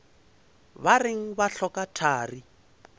ba reng ba hloka thari